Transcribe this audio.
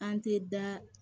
An tɛ da